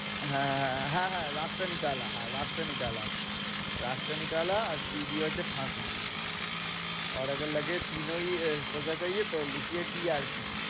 হ্যাঁ, হ্যাঁ, হ্যাঁ, হ্যাঁ আর P দিয়ে হচ্ছে ফাঁসি TRP